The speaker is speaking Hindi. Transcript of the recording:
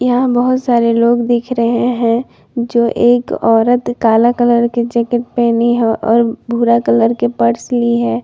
यहां बहुत सारे लोग दिख रहे हैं जो एक औरत काला कलर के जैकेट पहनी हो और भूरा कलर के पर्स ली है।